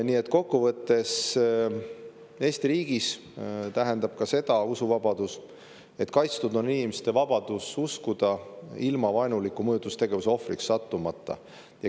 Nii et kokkuvõttes Eesti riigis tähendab usuvabadus ka seda, et kaitstud on inimeste vabadus uskuda ilma vaenuliku mõjutustegevuse ohvriks sattumata.